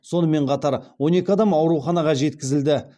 сонымен қатар он екі адам ауруханаға жеткізілді